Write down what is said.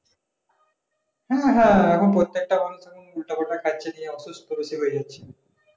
হ্যাঁ হ্যাঁ, এখন প্রত্যেকটা মানুষ উল্টাপাল্টা খাচ্ছে নিয়ে অসুস্থ হয়ে যাচ্ছে